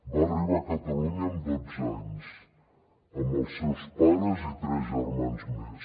va arribar a catalunya amb dotze anys amb els seus pares i tres germans més